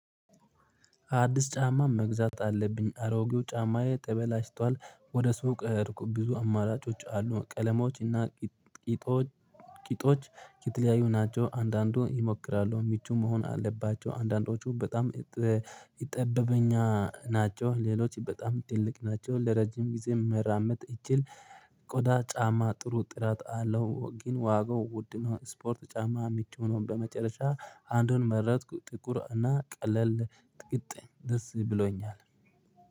አዲስ ጫማ መግዛት አለብኝ አሮጌው ጫማዬ ተበላሽቷል ወደ ስውቅ እርኩብ ብዙ አማራጮች አሉ ቀለማዎች እና ቂጦች ቂጦች። ከተለያዩ ናቸው አንዳንዱ ይሞክራሉ ምቹ መሆን አለባቸው አንዳንዶቹ በጣም ይጠበበኝ ናቸው። ሌሎች በጣም ትልቅ ናቸው ለረጅም ጊዜ መራመድ እችል። ቆዳ ጫማ ጥሩ ጥራት አለው። ግን ዋጋው ውድ ስፖርት ጫማ የሚጮኸውን በመጨረሻ አንዱን መረጥኩ። ጥቁር እና ቀለል ጥቁሮ ደስ ብሎኛል